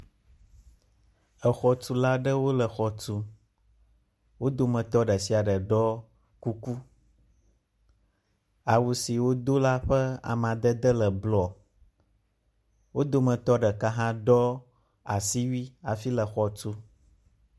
Exɔtula aɖewo le exɔ tum. Wo dometɔ ɖe sia ɖe ɖɔ kuku. Awu si wodo la ƒe amadede le blɔ. Wo dometɔ hã ɖeka ɖɔ asiwui hafi le exɔ tum.